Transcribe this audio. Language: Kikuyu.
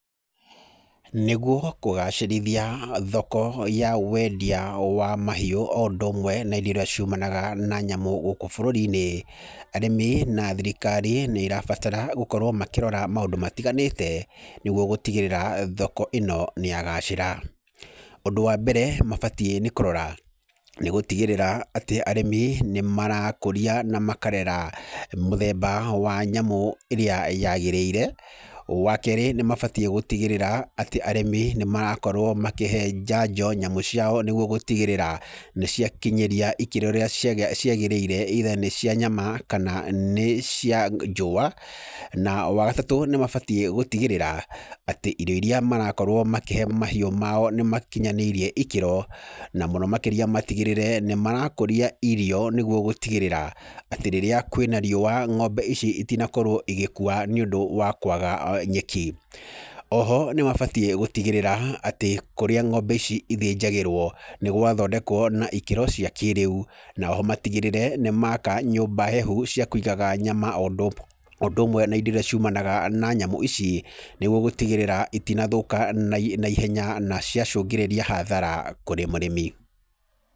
Nĩguo kũgacĩrithia thoko yawendia wa mahiũ o ũndũmwe na indo iria ciumanaga na nyamũ gũkũ bũrũrinĩ, arĩmi na thirikari nĩirabatara gũkorwo makĩrora maũndũ matiganĩte nĩguo gũtigĩrĩra thoko ĩno nĩyagacĩra. Ũndũ wa mbere mabatie nĩ kũrora nĩ gũtigĩrĩra atĩ arĩmi nĩmarakũria na makarera mũthemba wa nyamũ ĩrĩa yagĩrĩire. Wakerĩ nĩmabatie gũtigĩrĩra atĩ arĩmi nĩmakorwo makĩhe njanjo nyamũ ciao nĩguo gũtigĩrĩra nĩciakinyanĩria ikĩro iria ciagĩrĩire either nĩ cia nyama kana nĩ cia njũa. Na wagatatũ nĩmabatie gũtigĩrĩra atĩ irio iria marakorwo makĩhe mahiũ mao nĩmakinyanĩirie ikĩro na mũno makĩria matigĩrĩre nĩmarakũria iriyo nĩguo gũtigĩrĩra atĩ rĩrĩa kwĩna riũwa ng'ombe ici itinakorwo igĩkua nĩũndũ wa kwaga nyeki. Oho nĩmabatie gũtigĩrĩra tĩ kũrĩa ng'ombe ici cithĩjagĩrwo nĩgwathondekwo na ikĩro cia kĩrĩu. Na oho matigĩrĩre nĩmaka nyũmba hehu cia kũigaga nyama o ũndũ ũmwe na indo iria ciumanaga na nyamũ ici nĩguo gũtigĩrĩra itinathũka na ihenya na ciacũngĩrĩria hathara kũrĩ mũrĩmi.